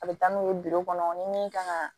A bɛ taa n'u ye kɔnɔ ni min kan ka